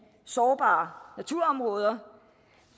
sårbare naturområder